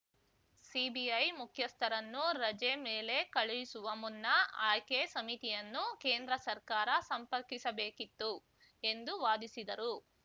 CBI ಮುಖ್ಯಸ್ಥರನ್ನು ರಜೆ ಮೇಲೆ ಕಳುಹಿಸುವ ಮುನ್ನ ಆಯ್ಕೆ ಸಮಿತಿಯನ್ನು ಕೇಂದ್ರ ಸರ್ಕಾರ ಸಂಪರ್ಕಿಸಬೇಕಿತ್ತು ಎಂದು ವಾದಿಸಿದರು